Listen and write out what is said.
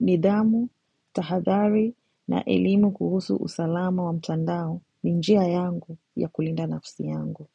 nidhamu, tahadhari na elimu kuhusu usalama wa mtandao ni njia yangu ya kulinda nafsi yangu.